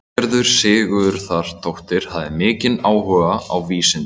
Valgerður Sigurðardóttir hafði mikinn áhuga á vísindum.